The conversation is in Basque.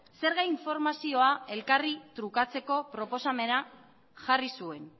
zerga informazioa elkarri trukatzeko proposamena jarri zuen